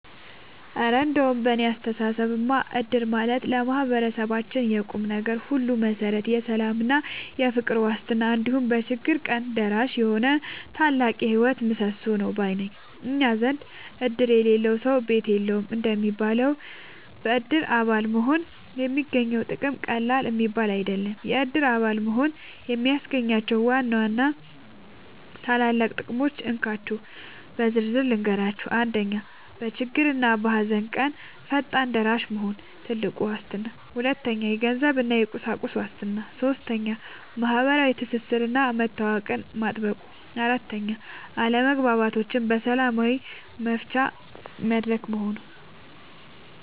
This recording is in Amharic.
እረ እንደው በእኔ አስተያየትማ እድር ማለት ለማህበረሰባችን የቁምነገር ሁሉ መሠረት፣ የሰላምና የፍቅር ዋስትና፣ እንዲሁም በችግር ቀን ደራሽ የሆነ ታላቅ የህይወት ምሰሶ ነው ባይ ነኝ! እኛ ዘንድ "እድር የሌለው ሰው ቤት የለውም" እንደሚባለው፣ በእድር አባል መሆን የሚገኘው ጥቅም ቀላል የሚባል አይደለም። የእድር አባል መሆን የሚያስገኛቸውን ዋና ዋና ታላላቅ ጥቅሞች እንካችሁ በዝርዝር ልንገራችሁ፦ 1. በችግርና በሃዘን ቀን ፈጣን ደራሽ መሆኑ (ትልቁ ዋስትና) 2. የገንዘብና የቁሳቁስ ዋስትና 3. ማህበራዊ ትስስርና መተዋወቅን ማጥበቁ 4. አለመግባባቶችን በሰላም መፍቻ መድረክ መሆኑ